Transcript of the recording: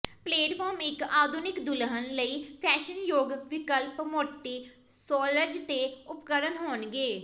platform ਇੱਕ ਆਧੁਨਿਕ ਦੁਲਹਨ ਲਈ ਫੈਸ਼ਨਯੋਗ ਵਿਕਲਪ ਮੋਟੀ ਸੋਲਜ਼ ਤੇ ਉਪਕਰਣ ਹੋਣਗੇ